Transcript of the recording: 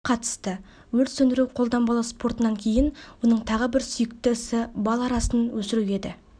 қатысты өрт сөндіру қолданбалы спортынан кейін оның тағы бір сүйікті ісі бал арасын өсіру еді